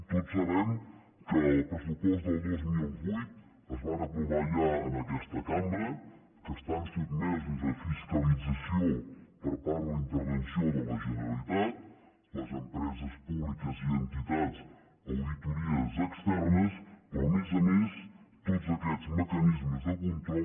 tots sabem que els pressupostos del dos mil vuit es van aprovar ja en aquesta cambra que estan sotmesos a fiscalització per part de la intervenció de la generalitat les empreses públiques i entitats a auditories externes però a més a més tots aquests mecanismes de control